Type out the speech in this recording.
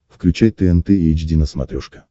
включай тнт эйч ди на смотрешке